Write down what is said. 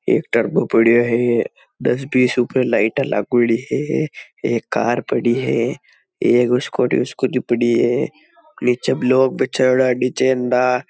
एक टर्बो पड्यो है दस बीस ऊपर लाइटा लागोड़ी है एक कार पड़ी है एक स्कूटर स्कूटी पड़ी है निचे लोग --